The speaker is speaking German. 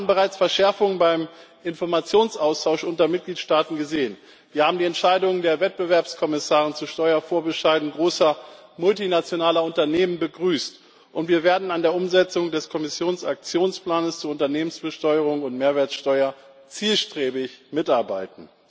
Wir haben bereits Verschärfungen beim Informationsaustausch unter Mitgliedstaaten gesehen, wir haben die Entscheidung der Wettbewerbskommissare zu Steuervorbescheiden großer multinationaler Unternehmen begrüßt, und wir werden an der Umsetzung des Kommissionsaktionsplanes zur Unternehmensbesteuerung und Mehrwertsteuer zielstrebig mitarbeiten.